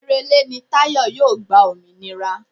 Oṣù Èrèlé ni Táyọ̀ yóò gba òmìnira